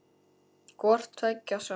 Hvort tveggja sást.